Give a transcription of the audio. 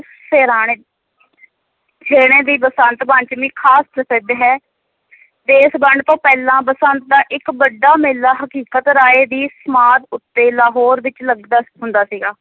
ਛੇਹਣੇ ਦੀ ਬਸੰਤ ਪੰਚਮੀ ਖਾਸ ਪ੍ਰਸਿੱਧ ਹੈ ਦੇਸ ਵੰਡ ਤੋਂ ਪਹਿਲਾਂ ਬਸੰਤ ਦਾ ਇੱਕ ਵੱਡਾ ਮੇਲਾ ਹਕੀਕਤ ਰਾਇ ਦੀ ਸਮਾਧ ਉੱਤੇ, ਲਾਹੋਰ ਵਿੱਚ ਲੱਗਦਾ ਹੁੰਦਾ ਸੀਗਾ।